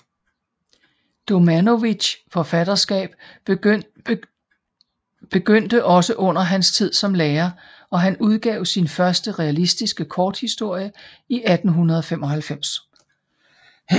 Domanovićs forfatterskab begyndte også under hans tid som lærer og han udgav sin første realistiske korthistorie i 1895